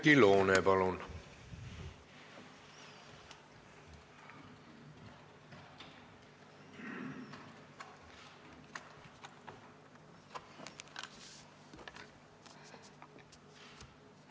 Oudekki Loone, palun!